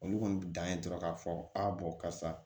Olu kɔni bi dan ye dɔrɔn k'a fɔ karisa